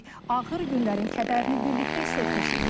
Ağır günlərin kədərini birlikdə hiss etmişik.